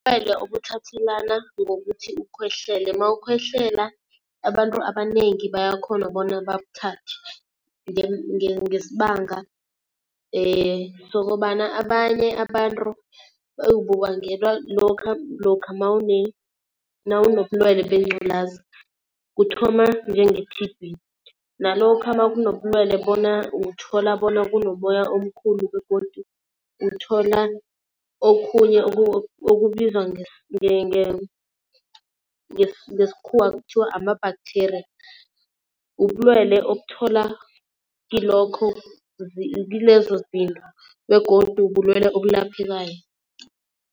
Ubulwele obuthathelana ngokuthi ukhohlele, mawukhohlela abantu abanengi bayakhona bona bakuthathe ngesibanga sokobana abanye abantu bubangelwa lokha nawunobulwelwe bengqulazi kuthoma njenge-T_B. Nalokha makunobulwele bona uthola bona kunomoya omkhulu begodu uthola okhunye okubizwa ngesikhuwa kuthiwa ama-bacteria. Ubulwele okuthola kilokho kilezo zinto begodu bulwelwe obulaphekayo.